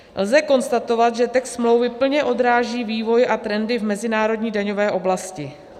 Lze konstatovat, že text smlouvy plně odráží vývoj a trendy v mezinárodní daňové oblasti.